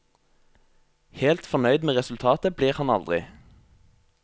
Helt fornøyd med resultatet blir han aldri.